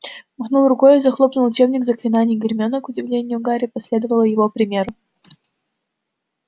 махнул рукой и захлопнул учебник заклинаний гермиона к удивлению гарри последовала его примеру